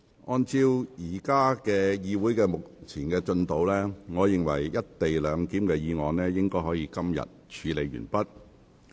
按照會議目前的進度，我認為"一地兩檢"的議案應可於今天處理完畢。